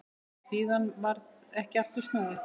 Síðan varð ekki aftur snúið.